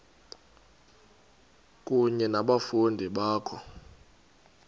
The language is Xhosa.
kunye nabafundi bakho